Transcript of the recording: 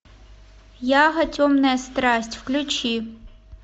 яго темная страсть включи